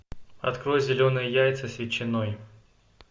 открой зеленые яйца с ветчиной